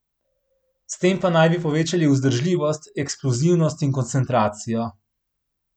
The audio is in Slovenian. S tem naj bi povečali vzdržljivost, eksplozivnost in koncentracijo.